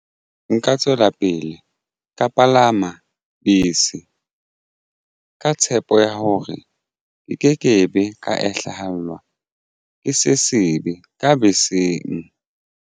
Nka tswela pele ka palama bese ka tshepo ya hore ke nke ke be ka hlahelwa ke se sebe ka beseng.